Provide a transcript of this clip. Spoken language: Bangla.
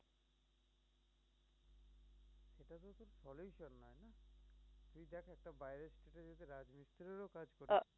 আহ